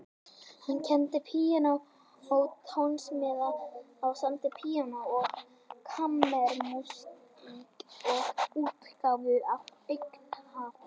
Hann kenndi píanóleik og tónsmíðar og samdi píanó- og kammermúsík til útgáfu fyrir áhugafólk.